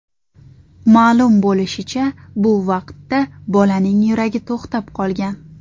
Ma’lum bo‘lishicha, bu vaqtda bolaning yuragi to‘xtab qolgan.